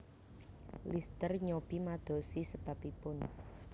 Lister nyobi madosi sebabibun